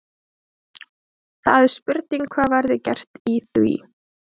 Það er spurning hvað verði gert í því?